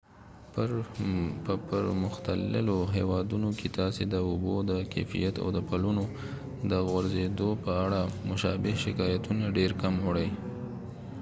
په پرمختللو هیوادونو کې تاسې د اوبو د کیفیت او د پلونو د غورځیدو په اړه مشابه شکایتونه ډیر کم اورئ